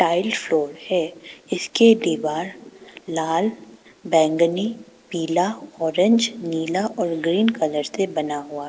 Floor है इसके दीवार लाल बैंगनी पीला ऑरेंज नीला और ग्रीन कलर से बना हुआ।